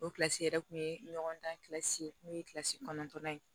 O kilasi yɛrɛ kun ye ɲɔgɔn dan n'o ye kɔnɔntɔnnan ye